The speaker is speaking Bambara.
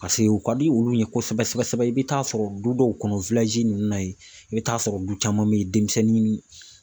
u ka di olu ye kosɛbɛ kosɛbɛ i bɛ t'a sɔrɔ du dɔw kɔnɔ ninnu na yen i bɛ t'a sɔrɔ du caman bɛ denmisɛnnin.